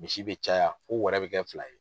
Misi bɛ caya fo wɛrɛ bɛ kɛ fila ye.